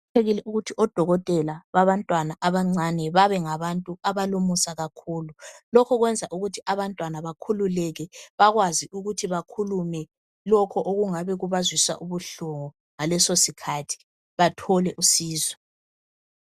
Kuqakathekile ukuthi odokotela babantwana abancane babe ngabantu abalomusa kakhulu. Lokhu kwenza ukuthi abantwana bakhululeke bakwazi ukuthi bakhulume lokho okungabe kubazwisa ubuhlungu ngalesosikhathi, bathole usizo.